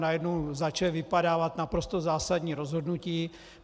Najednou začala vypadávat naprosto zásadní rozhodnutí.